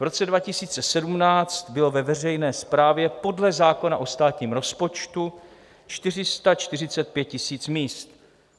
V roce 2017 bylo ve veřejné správě podle zákona o státním rozpočtu 445 000 míst.